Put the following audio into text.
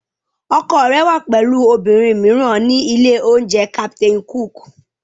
Ọkọ rẹ wà pẹ̀lú obìnrin mìíràn ní ilé-oúnjẹ Captain Cook